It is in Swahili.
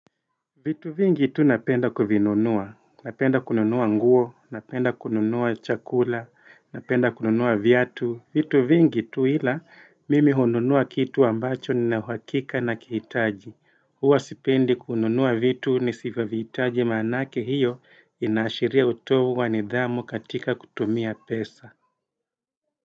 Vitu vingi tu napenda kuvinunua, napenda kununua nguo, napenda kununua chakula, napenda kununua viatu, vitu vingi tu ila mimi honunua kitu ambacho nina uhakika nakihitaji, huwa sipendi kununua vitu nisivyo vitaji maanake hiyo inaashiria utovu wa nidhamu katika kutumia pesa.